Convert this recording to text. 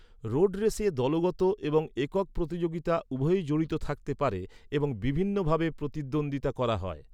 Road রেসে দলগত এবং একক প্রতিযোগিতা উভয়ই জড়িত থাকতে পারে এবং বিভিন্ন ভাবে প্রতিদ্বন্দ্বিতা করা হয়।